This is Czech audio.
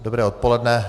Dobré odpoledne.